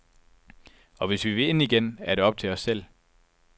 Og hvis vi vil ind igen, er det op til os selv.